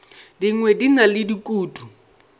dingwe di na le dikutu